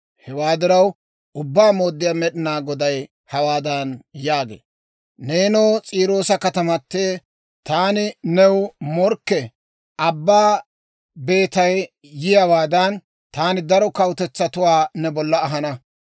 Hewaa diraw, Ubbaa Mooddiyaa Med'inaa Goday hawaadan yaagee; ‹Neenoo, S'iiroosa katamatee, taani new morkke. Abbaa beetay yiyaawaadan, taani daro kawutetsatuwaa ne bollan ahana.